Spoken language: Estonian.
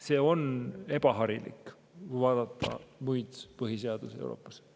See on ebaharilik, kui vaadata muid põhiseadusi Euroopas.